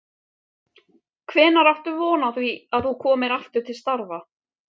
Hvenær áttu von á því að þú komir aftur til starfa?